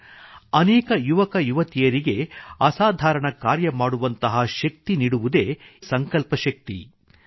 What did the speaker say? ಅನೇಕ ಯುವಕಯುವತಿಯರಿಗೆ ಅಸಾಧಾರಣ ಕಾರ್ಯ ಮಾಡುವಂತಹ ಶಕ್ತಿ ನೀಡುವುದು ಇದೇ ಸಂಕಲ್ಪ ಶಕ್ತಿ ಇಚ್ಛಾಶಕ್ತಿ